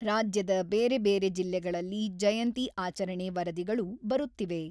ರಾಜ್ಯದ ಬೇರೆ ಬೇರೆ ಜಿಲ್ಲೆಗಳಲ್ಲಿ ಜಯಂತಿ ಆಚರಣೆ ವರದಿಗಳು ಬರುತ್ತಿವೆ.